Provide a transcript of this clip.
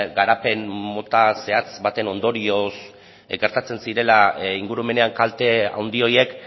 garapen mota zehatz baten ondorioz gertatzen zirela ingurumenean kalte handi horiek